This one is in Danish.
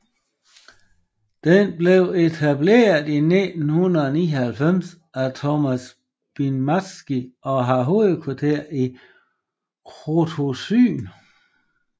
Den blev etableret i 1999 af Tomasz Biernacki og har hovedkvarter i Krotoszyn